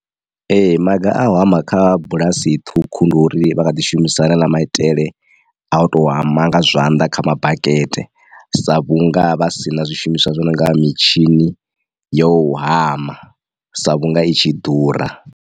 Ee maga a u hama kha bulasi ṱhukhu ndi uri vha kha ḓi shumisa haneaḽa maitele a u to hama nga zwanḓa kha mabakete sa vhunga vha sina zwishumiswa zwi no nga mitshini yo hama sa vhunga i tshi ḓura.